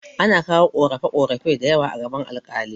Ana kawo ƙorafe ƙorafe dayawa a gaban alƙali